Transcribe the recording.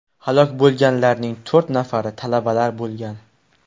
Halok bo‘lganlarning to‘rt nafari talabalar bo‘lgan.